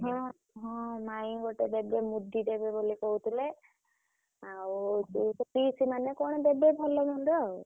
ହଁ ହଁ ମାଇଁ ଗୋଟେ ଦେବେ ମୁଦି ଦେବେ ବୋଲି କହୁଥିଲେ